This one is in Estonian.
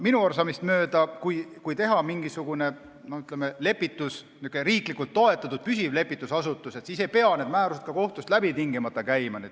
Minu arusaamist mööda, kui teha mingisugune riiklikult toetatud püsiv lepitusasutus, siis ei pea need määrused kohtust tingimata läbi käima.